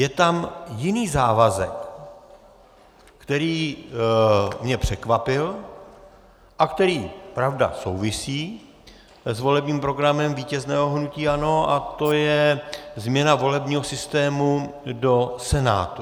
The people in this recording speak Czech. Je tam jiný závazek, který mě překvapil a který, pravda, souvisí s volebním programem vítězného hnutí ANO, a to je změna volebního systému do Senátu.